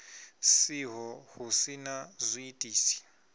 siho hu si na zwiitisi